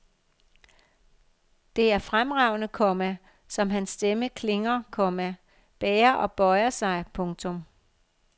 Det er fremragende, komma som hans stemme klinger, komma bærer og bøjer sig. punktum